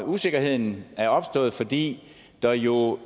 usikkerheden er opstået fordi der jo